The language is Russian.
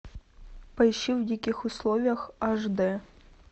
поищи в диких условиях аш д